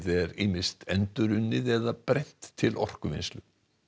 er ýmist endurunnið eða brennt til orkuvinnslu